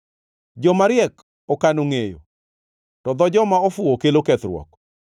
Joma riek okano ngʼeyo, to dho joma ofuwo kelo kethruok.